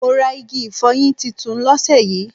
Mo rà igi ifoyin titun lóse yí